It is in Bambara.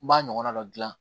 N b'a ɲɔgɔnna dɔ dilan